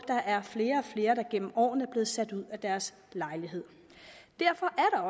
der er flere og flere der gennem årene er blevet sat ud af deres lejlighed derfor er